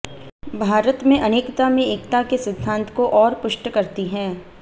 भारत में अनेकता में एकता के सिद्धांत को और पुष्ट करती है